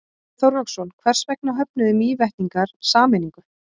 Björn Þorláksson: Hvers vegna höfnuðu Mývetningar sameiningu?